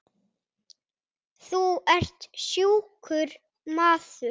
Þú ert sjúkur maður.